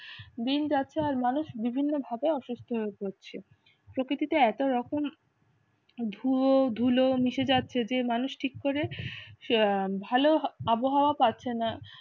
দিন যাচ্ছে আর মানুষ বিভিন্নভাবে অসুস্থ হয়ে পড়ছে। পড়ছে প্রকৃতিতে এত রকম ধোয়া ধুলো মিশে যাচ্ছে যে মানুষ ঠিক করে আহ ভালো আবহাওয়া পাচ্ছে না